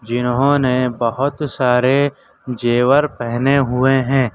इन्होंने बहुत सारे जेवर पहने हुए हैं।